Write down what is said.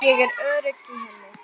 Ég er örugg í henni.